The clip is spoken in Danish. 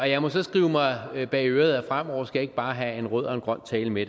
jeg må så skrive mig bag øret at fremover skal jeg ikke bare have en rød og en grøn tale med